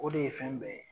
O de ye fɛn bɛɛ ye